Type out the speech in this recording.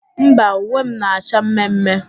Mba, uwe m na-acha mme mme.